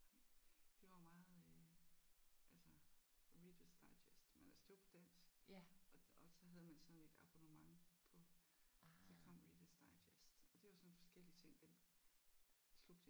De var meget øh altså Reader's Digest men altså det var på dansk og og så havde man sådan et abonnement på så kom Reader's Digest og det var sådan forskellige ting. Dem slugte jeg